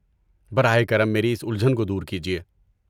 براہ کرم میری اس الجھن کو دور کیجیے۔